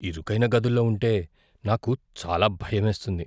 ఇరుకైన గదుల్లో ఉంటే నాకు చాలా భయం వేస్తుంది.